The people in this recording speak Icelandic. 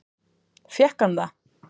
Fékk hann það?